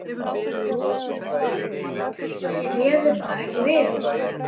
Ég réði bara ekki við þetta.